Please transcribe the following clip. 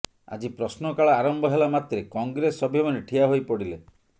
ଆଜି ପ୍ରଶ୍ନକାଳ ଆରମ୍ଭ ହେଲା ମାତ୍ରେ କଂଗ୍ରେସ ସଭ୍ୟମାନେ ଠିଆ ହୋଇପଡ଼ିଲେ